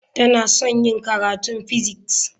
Tana son yin karatun physics.